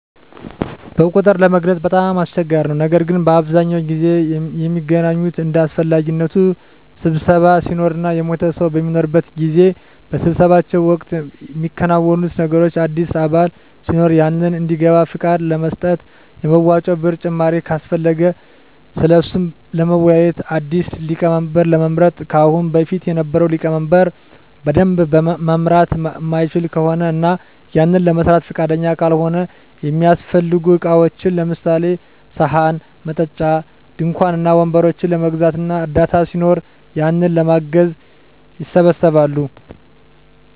በቁጥር ለመግለፅ በጣም አስቸጋሪ ነው ነገር ግን በአብዛኛው ጊዜ ሚገናኙት እንደ አሰፈላጊነቱ ስብሰባ ሲኖር እና የሞተ ሰው በሚኖርበት ጊዜ። በስብሰባው ወቅት ሚከናወኑት ነገሮች አዲስ አባል ሲኖር ያንን እንዲገባ ፍቃድ ለመስጠት፣ የመዋጮ ብር ጭማሪ ካሰፈለገ ስለሱ ለመወያዬት፣ አዲስ ሊቀመንበር ለመምረጥ ከአሁን በፊት የነበረው ሊቀመንበር በደንብ መምራት ማይችል ከሆነ እና ያንን ለመስራት ፍቃደኛ ካልሆነ፣ እሚያሰፈልጉ እቃዎችን ለምሳሌ፦ ሰሀን፣ መጠጫ፣ ድንኳን እና ወንበሮችን ለመግዛት እና እርዳታ ሲኖር ያንን ለማገዝ ይሰባሰባሉ።